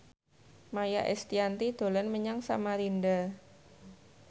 Maia Estianty dolan menyang Samarinda